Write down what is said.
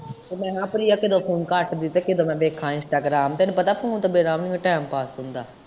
ਤੇ ਮੈਂ ਕਿਹਾ ਪ੍ਰਿਆ ਕਿੱਡੋ phone ਕੱਤਦੀ ਤ੍ਵ ਕਿੱਡੋ ਮੈਂ ਵੇਖਾ instagram ਤੈਨੂੰ ਪਤਾ phone ਤੋਂ ਬਿਨਾ ਨੀ ਟੀਮ ਪਾਸ ਹੁੰਦਾ।